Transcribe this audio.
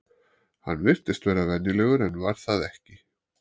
Hann virtist vera venjulegur en var það ekki.